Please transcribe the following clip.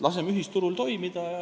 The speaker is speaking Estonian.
Laseme ühisturul toimida.